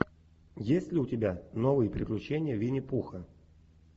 есть ли у тебя новые приключения винни пуха